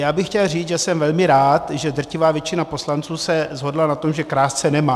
Já bych chtěl říct, že jsem velmi rád, že drtivá většina poslanců se shodla na tom, že krást se nemá.